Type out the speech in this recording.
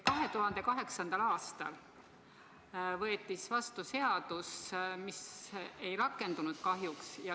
2008. aastal võeti vastu seadus, mis kahjuks ei rakendunud.